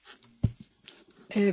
Pani Przewodnicząca!